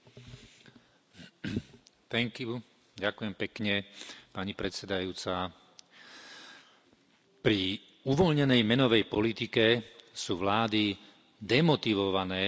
Vážená pani predsedajúca, pri uvoľnenej menovej politike sú vlády demotivované robiť nutné reformy.